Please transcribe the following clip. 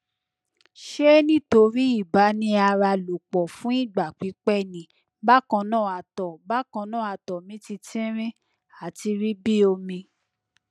ṣe nitori ibaniaralopo fun igba pipẹ ni bakanna ato bakanna ato mi ti tinrin ati ri bi omi